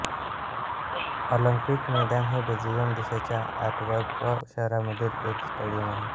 Olympic मैदान हे Belgium देशाच्या एंटवर्प शहरामधील एक स्टेडियम आहे